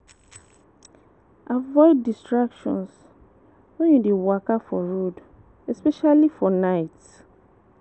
Avoid distraction when you dey waka for road, especially for night